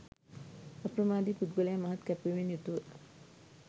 අප්‍රමාදී පුද්ගලයා මහත් කැපවීමෙන් යුතුව